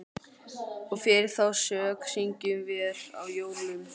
Og fyrir þá sök syngjum vér á jólum